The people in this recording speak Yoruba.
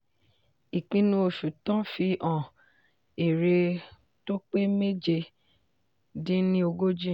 ìpinnu oṣù tán fi hàn èrè tó pé méje dín ní ogójì.